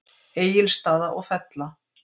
Egilsstaða og Fella.